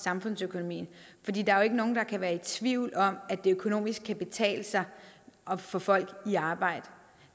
samfundsøkonomien fordi der jo ikke nogen der kan være i tvivl om at det økonomisk kan betale sig at få folk i arbejde